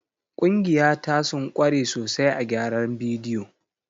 Ƙungiya ta sun kware sosai a gyaran bidiyo.